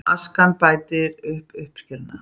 Askan bætir uppskeruna